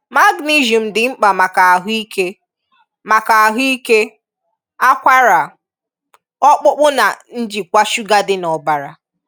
Magnesium dị mkpa maka ahụ ike, maka ahụ ike, ákwárà, ọkpụkpụ na njikwa shuga dị n'ọbara.